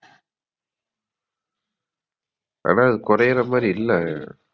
ஆனா கொரையிறமாதிரி இல்ல